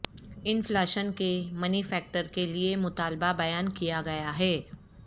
inflation کے money factor کے لئے مطالبہ بیان کیا گیا ہے